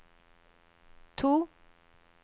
to